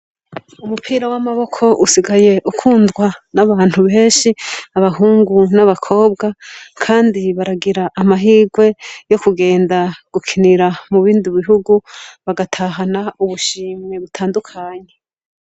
Umupira w'amaboko usigaye ukundwa n'abantu benshi, abahungu n'abakobwa kandi baragira amahigwe yo kugenda gukinira mu bindi bihugu bagatahana ubushimwe butandukanye.